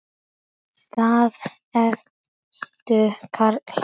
Staða efstu karla